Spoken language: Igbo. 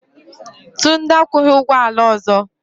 Tunde akwụghị ụgwọ ala ọzọ.